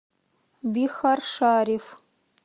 бихаршариф